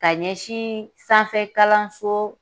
Ka ɲɛsin sanfɛ kalanso